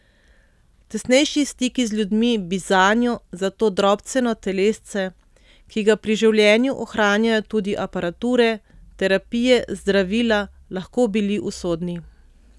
Tesnejši stiki z ljudmi bi zanjo, za to drobceno telesce, ki ga pri življenju ohranjajo tudi aparature, terapije, zdravila, lahko bili usodni.